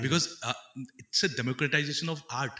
because ah its a democratization of art